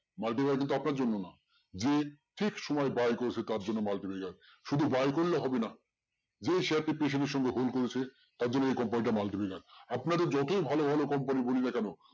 Multiplexer কিন্তু আপনার জন্য না যে ঠিক সময় buy করেছে তার জন্য multiplexer শুধু buy করলে হবে না যে share টি patient এর সঙ্গে hold করেছে তার জন্য এই company টা multiplexer আপনাদের যতই ভালো ভালো company বলি না কেন